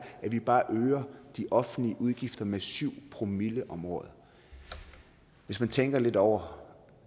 at vi bare øger de offentlige udgifter med syv promille om året hvis man tænker lidt over